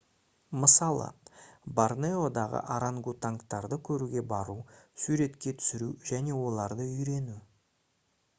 мысалы борнеодағы органгатуангтарды көруге бару суретке түсіру және оларды үйрену